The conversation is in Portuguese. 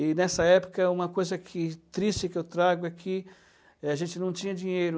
E, nessa época, é uma coisa que triste que eu trago é que, eh, a gente não tinha dinheiro.